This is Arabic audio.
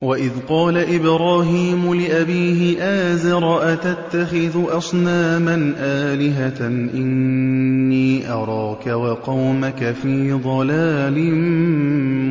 ۞ وَإِذْ قَالَ إِبْرَاهِيمُ لِأَبِيهِ آزَرَ أَتَتَّخِذُ أَصْنَامًا آلِهَةً ۖ إِنِّي أَرَاكَ وَقَوْمَكَ فِي ضَلَالٍ